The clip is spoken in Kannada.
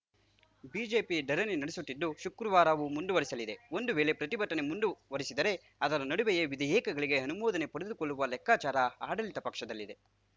ಬಿಜೆಪಿ ಧರಣಿ ನಡೆಸುತ್ತಿದ್ದು ಶುಕ್ರವಾರ ಮುಂದುವರಿಸಲಿದೆ ಒಂದು ವೇಳೆ ಪ್ರತಿಭಟನೆ ಮುಂದುವರಿಸಿದರೆ ಅದರ ನಡುವೆಯೇ ವಿಧೇಯಕಗಳಿಗೆ ಅನುಮೋದನೆ ಪಡೆದುಕೊಳ್ಳುವ ಲೆಕ್ಕಾಚಾರ ಆಡಳಿತ ಪಕ್ಷದಲ್ಲಿದೆ